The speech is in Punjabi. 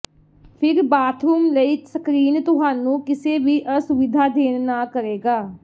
ਫਿਰ ਬਾਥਰੂਮ ਲਈ ਸਕਰੀਨ ਤੁਹਾਨੂੰ ਕਿਸੇ ਵੀ ਅਸੁਵਿਧਾ ਦੇਣ ਨਾ ਕਰੇਗਾ